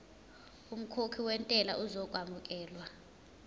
umkhokhi wentela uzokwamukelwa